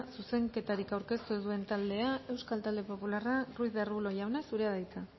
zuzenketarik aurkeztu ez duen taldea euskal talde popularra ruiz de arbulo jauna zurea da hitza